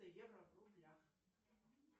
евро в рублях